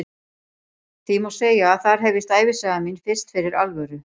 Því má segja að þar hefjist ævisaga mín fyrst fyrir alvöru.